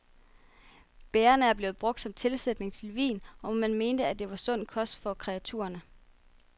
Bærrene er blevet brugt som tilsætning til vin, og man mente, at de var sund kost for kreaturerne.